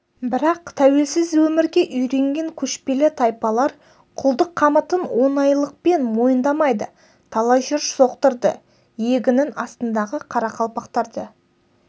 бірақ тәуелсіз өмірге үйренген көшпелі тайпалар құлдық қамытын оңайлықпен мойындамайды талай жер соқтырды иегінің астындағы қарақалпақтарды